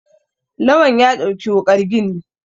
Lawan ya ɗauki wukar gini